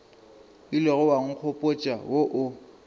ilego wa nkgopotša wo o